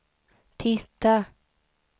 titta